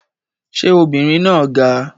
Ṣé obìnrin náà ga?